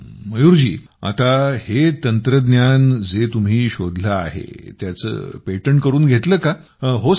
हम्म आता हे तंत्रज्ञान जे तुम्ही शोधले आहे त्याचे पेटंट करून घेतलं का